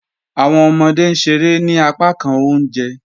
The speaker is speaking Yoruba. Awọn ọmọde n ṣèrè ní àpákàn ọ̀unjẹ